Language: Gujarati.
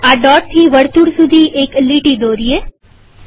ચાલો આ દોટથી વર્તુળ સુધી એક લીટી દોરીએ